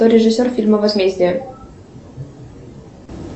кто режиссер фильма возмездие